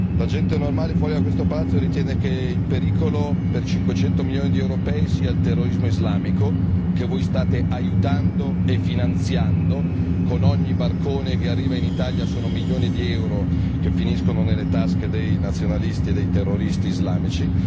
La gente normale, fuori da questo palazzo, ritiene che il pericolo per 500 milioni di europei sia il terrorismo islamico, che voi state aiutando e finanziando con ogni barcone che arriva in Italia sono milioni di euro che finiscono nelle tasche dei nazionalisti e dei terroristi islamici.